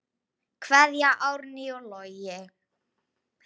Kveðja, Árný og Logi.